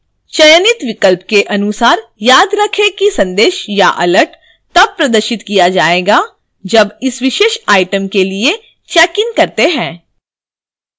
चयनित विकल्प के अनुसार याद रखें कि संदेश या alert तब प्रदर्शित किया जाएगा जब इस विशेष item के लिए checkइन करते हैं